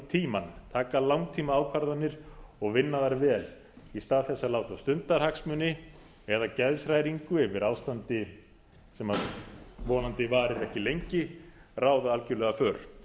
tímann taka langtímaákvarðanir og vinna þær vel í stað þess að láta stundarhagsmuni eða geðshræringu yfir ástandi sem vonandi varir ekki lengi ráða algjörlega för